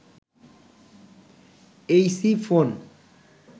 Aisi phone